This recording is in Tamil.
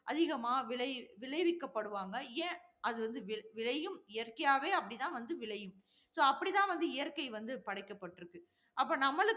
அதிகமா விளை~ விளைவிக்கபடுவாங்க. ஏன் அது வந்து வி~ விளையும், இயற்கையாகவே அப்படித்தான் வந்து விளையும். so அப்படி தான் வந்து இயற்கை வந்து படைக்கப்பட்டிருக்கு. அப்ப நம்மளும்